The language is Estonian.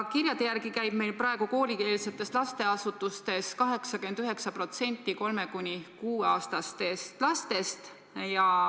Kirjade järgi käib meil praegu koolieelsetes lasteasutustes 89% 3–6-aastastest lastest.